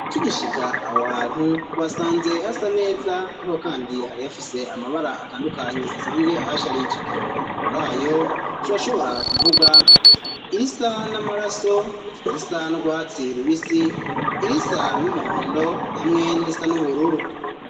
Tugishika aho hantu tuwasanze hasa neza ariho kandi hari hafise amabara atandukanye asanzwe ahasharije, mur'ayo turashobora kuvuga irisa n'amaraso, irisa nu rwatsi rubisi, irisa n'umuhondo hamwe n'irisa n'ubururu.